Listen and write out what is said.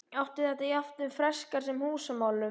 Átti þetta jafnt við um freskur sem húsamálun.